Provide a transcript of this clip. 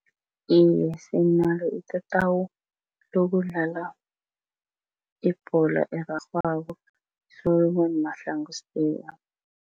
Iye, sinalo itatawu lokudlala ibholo erarhwako, Solomon Mahlangu.